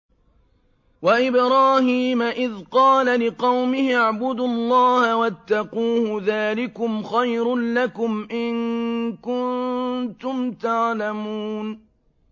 وَإِبْرَاهِيمَ إِذْ قَالَ لِقَوْمِهِ اعْبُدُوا اللَّهَ وَاتَّقُوهُ ۖ ذَٰلِكُمْ خَيْرٌ لَّكُمْ إِن كُنتُمْ تَعْلَمُونَ